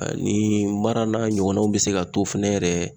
Ani mara n'a ɲɔgɔnnaw bɛ se ka to fɛnɛ yɛrɛ.